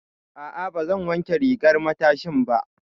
A'a, ba zan wanke rigar matashin ba.